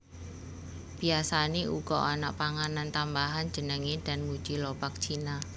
Biasane uga ana panganan tambahan jenenge danmuji lobak cina